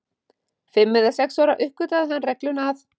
Fimm eða sex ára uppgötvaði hann regluna að